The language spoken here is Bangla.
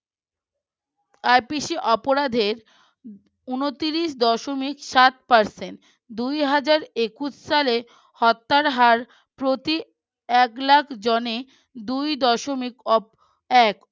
IPC অপরাধের উনত্রিশ দশমিক সাত percent দুই হাজার একুশ সালের হত্যার হার প্রতি একলাখ জনে দুই দশমিক এক